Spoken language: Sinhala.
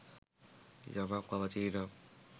යමක් පවතී නම්